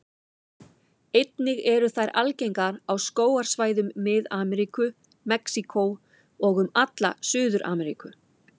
Einnig eru þær algengar á skógarsvæðum Mið-Ameríku, Mexíkó og um alla Suður-Ameríku.